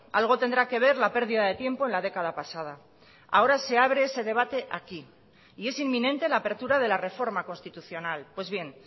algo tendrá que ver la pérdida de tiempo en la década pasada ahora se abre ese debate aquí y es inminente la apertura de la reforma constitucional pues bien